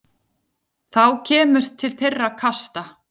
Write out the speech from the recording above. Þá kemur til þeirra kasta.